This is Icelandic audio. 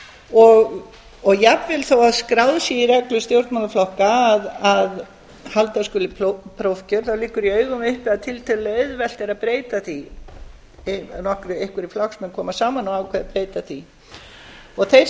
og jafnvel þó að skráð sé í reglur stjórnmálaflokka að halda skuli prófkjör þá liggur í augum uppi að tiltölulega auðvelt er að breyta því einhverjir flokksmenn koma saman og ákveða að breyta því og þeir